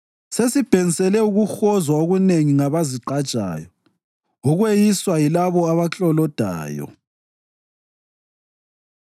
Sesibhensele ukuhozwa okunengi ngabazigqajayo, ukweyiswa yilabo abaklolodayo.